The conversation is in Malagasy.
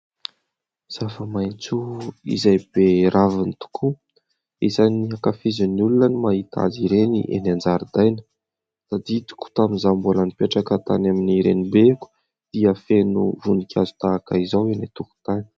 Zava-maintso izay be ravina tokoa izay ankafizIn'ny olona no mahita azy ireny eny an-jaridaina. Tadidiko tokoa tamin'izaho mbola nipetraka tany amin'ny renimbeko dia feno voninkazo tahaka izao eny an-tokotany.